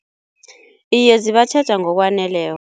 Iye zibatjheja ngokwaneleko.